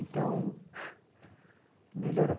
Então, melhorou.